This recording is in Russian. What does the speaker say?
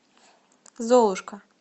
золушка